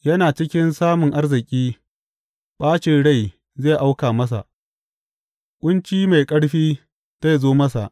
Yana cikin samun arziki, ɓacin rai zai auka masa; ƙunci mai ƙarfi zai zo masa.